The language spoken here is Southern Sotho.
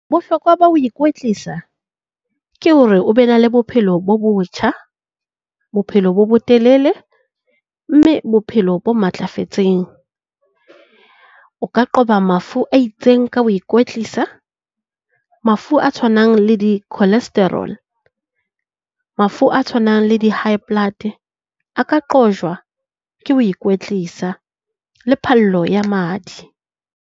Bohlokwa ba ho ikwetlisa ke hore o be na le bophelo bo botjha, bophelo bo bo telele mme bophelo bo matlafetseng. O ka qoba mafu a itseng ka ho ikwetlisa. Mafu a tshwanang le di-cholesterol, mafu a tshwanang le di-high-blood a ka qojwa ke ho ikwetlisa, le phallo ya madi.